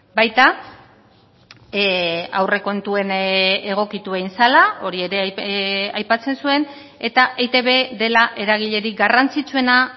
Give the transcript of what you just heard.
baita aurrekontuen egokitu egin zela hori ere aipatzen zuen eta eitb dela eragilerik garrantzitsuena